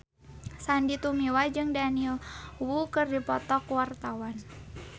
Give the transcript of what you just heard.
Sandy Tumiwa jeung Daniel Wu keur dipoto ku wartawan